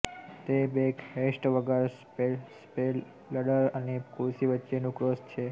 તે બેકહેસ્ટ વગર સ્ટેપલડર અને ખુરશી વચ્ચેનું ક્રોસ છે